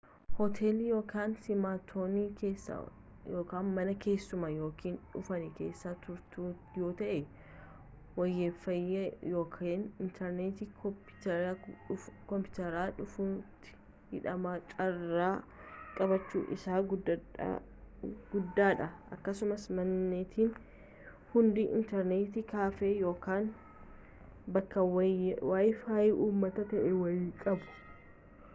hootelli yookaan simattoonni keessan mana keessummaa yookaan dhuunfaa keessa turtu yoo ta’e waayefaayee yookaan intarneetii koompiitara dhuunfaatti hidhame carraan qabaachuu isaa guddaadha akkasumas manneetiin hundi intarneet kaaffee yookaan bakka waayefaayee uummataa ta’e wayii qabu